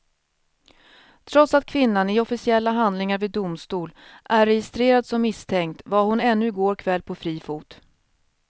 Trots att kvinnan i officiella handlingar vid domstol är registrerad som misstänkt var hon ännu i går kväll på fri fot.